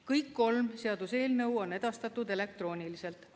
Kõik kolm seaduseelnõu on edastatud elektrooniliselt.